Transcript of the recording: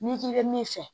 N'i k'i bɛ min fɛ